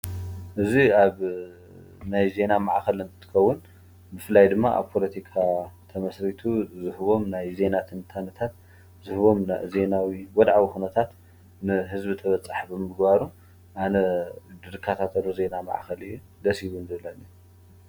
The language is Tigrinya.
እዝ ኣብ ናይ ዜና መዓኸል ምምትከውን ብፍላይ ድማ ኣብ ጶሎቲካ ተመሥሪቱ ዝህቦም ናይ ዜና ትንታንታት ዝህቦም ዜናዊ ወድዓዊ ኹነታት ንሕዝቢ ተበጻሕብ ምግባሩ ኣነ ድርካታተዶ ዜና መዓኸል ደሲቡን ዘለኒ